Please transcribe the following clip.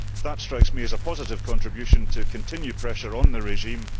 That strikes me as a positive contribution to continue pressure on the regime.